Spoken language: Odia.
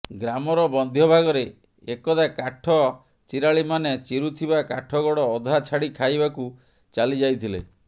ଗ୍ରାମର ମଧ୍ୟ ଭାଗରେ ଏକଦା କାଠ ଚିରାଳିମାନେ ଚିରୁଥିବା କାଠଗଡ଼ ଅଧା ଛାଡ଼ି ଖାଇବାକୁ ଚାଲିଯାଇଥିଲେ